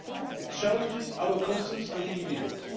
It challenges our conscience as individuals